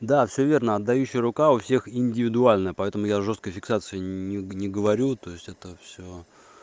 да всё верно отдающая рука у всех индивидуально поэтому я о жёсткой фиксации не говорю то есть это всё